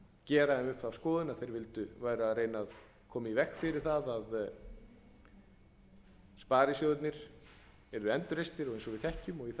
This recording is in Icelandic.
gera þeim upp þá skoðun að þeir væru að reyna að koma í veg fyrir að sparisjóðirnir yrðu endurreistir eins og við þekkjum og ég